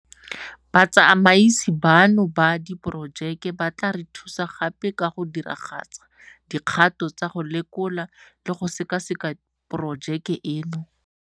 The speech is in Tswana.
Batsamaisi bano ba Diporojeke ba tla re thusa gape ka go diragatsa dikgato tsa go lekola le go sekaseka porojeke eno.